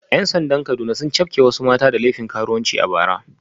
‘Yan sandan Kaduna sun cafke wasu mata da laifin karuwanci a bara